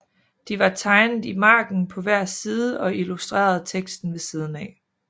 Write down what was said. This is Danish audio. De var tegnet i margenen på hver side og illustrerede teksten ved siden af